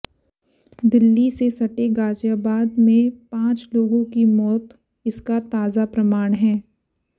दिल्ली से सटे गाजियाबाद में पांच लोगों की मौत इसका ताजा प्रमाण हैं